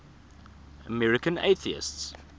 american atheists